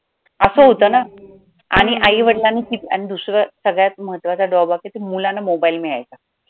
असं होतं ना आणि आई-वडिलांनी कि दुसरं सगळ्यात महत्त्वाचा drawback आहे की मुलांना mobile मिळायचा.